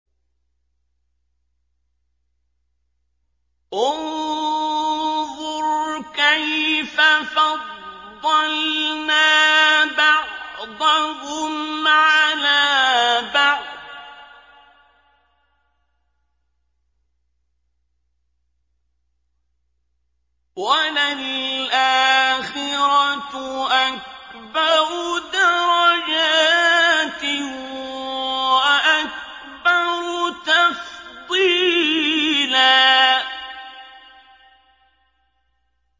انظُرْ كَيْفَ فَضَّلْنَا بَعْضَهُمْ عَلَىٰ بَعْضٍ ۚ وَلَلْآخِرَةُ أَكْبَرُ دَرَجَاتٍ وَأَكْبَرُ تَفْضِيلًا